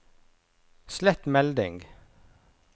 slett melding